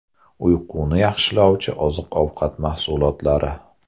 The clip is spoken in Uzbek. Uyquni yaxshilovchi oziq-ovqat mahsulotlari.